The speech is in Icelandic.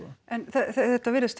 en þetta virðist